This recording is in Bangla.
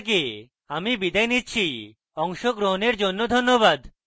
আই আই টী বোম্বে থেকে আমি বিদায় নিচ্ছি অংশগ্রহণের জন্য ধন্যবাদ